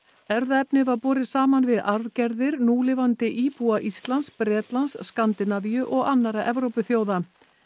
erfðaefnið var borið saman við arfgerðir núlifandi íbúa Íslands Bretlands Skandinavíu og annarra Evrópuþjóða